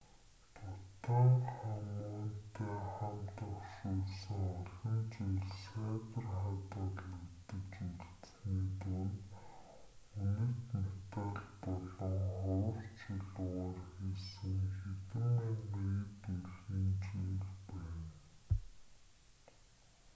тутанхамунтай хамт оршуулсан олон зүйлс сайтар хадгалагдаж үлдсэний дунд үнэт металл болон ховор чулуугаар хийсэн хэдэн мянган эд өлгийн зүйл байна